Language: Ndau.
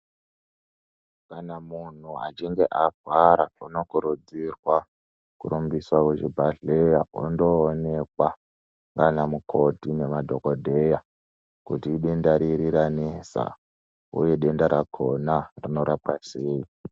Kana munhu achinge arwara unokurudzirwa kurumbiswa kuchibhadhlera undoonekwa nana mukoti nemadhogodheya kuti idenda riri ranesa uye denda rakona rinorapwa sei.